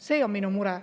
See on minu mure.